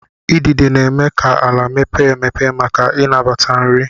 Idide na-eme ka ala mepee emepe maka ịnabata nri.